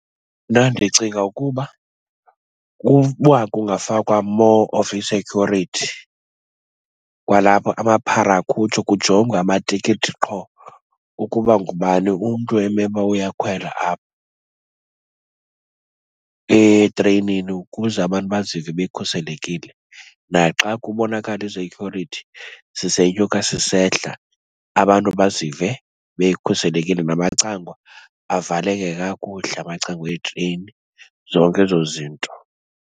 Mna ndicinga ukuba uba kungafakwa more of i-security kwalapha, amaphara akhutshwe, kujongwe amatikiti qho, ukuba ngubani umntu emeluba uyakhwela apha etreyinini, ukuze abantu bazive bekhuselekile. Naxa kubonakala ii-security zisenyuka sisehla abantu bazive bekhuselekile. Namacango avaleke kakuhle amacango eetreyini, zonke ezo zinto.